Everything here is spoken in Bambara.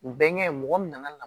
U bɛnkɛ mɔgɔ min nana